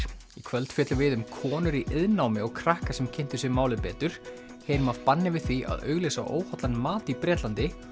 í kvöld fjöllum við um konur í iðnnámi og krakka sem kynntu sér málið betur heyrum af banni við því að auglýsa óhollan mat í Bretlandi